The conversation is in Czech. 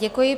Děkuji.